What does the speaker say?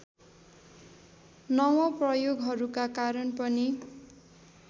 नवप्रयोगहरूका कारण पनि